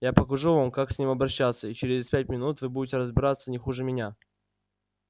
я покажу вам как с ним обращаться и через пять минут вы будете разбираться не хуже меня